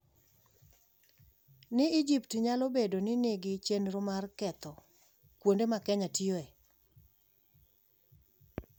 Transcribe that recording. ni Egypt nyalo bedo ni nigi chenro mar ketho kuonde ma Kenya tiyoe.